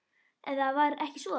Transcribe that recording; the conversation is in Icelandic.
Eða var ekki svo?